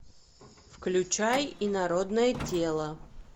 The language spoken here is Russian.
включай инородное тело